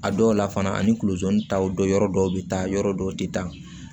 A dɔw la fana ani kuluju taw do yɔrɔ dɔw bɛ taa yɔrɔ dɔw tɛ taa